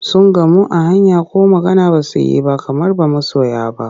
Sun gamu a hanya ko magana ba su yi ba kamar ba masoya ba.